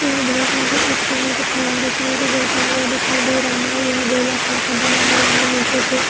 यह दृश्य मुझे एक पानी के फौवारे का नीचे गिरता हुआ दिखाई दे रहा है या गोलाकार का बना हुआ है निचे पे --